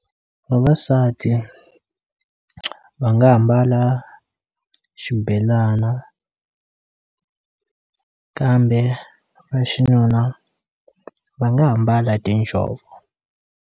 Vavasati va nga mbala xibelana kambe va xinuna va nga ha mbala tinjhovo.